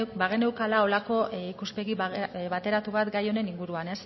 ba bageneukala halako ikuspegi bateratu bat gain honen inguruan